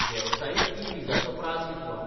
वेवसायीक ई विजाचो प्राझ कितलो?